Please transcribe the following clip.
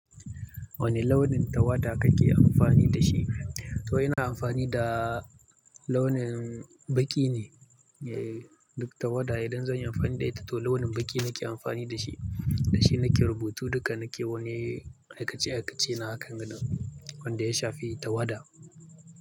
Wane launin tawada kake amfani da shi? Toh ina amfani da launin baƙi ne. Duk tawada idan zan yi amfani da ita to launin baƙi nake amfani da shi. Da shi nake rubutu duka nake wani aikace-aikace na hakanga wanda ya shafi tawada.